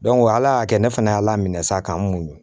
ala y'a kɛ ne fana y'a la minɛ sa k'an muɲun